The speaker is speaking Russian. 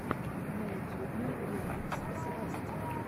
на ютьюбе ремикс свасти